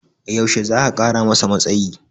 yaushe za'a Kara masa matsayi?